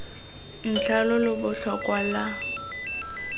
ntlha lo lo botlhokwa lwa